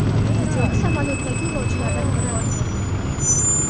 Videoni samolyotdagi yo‘lovchilardan biri olgan.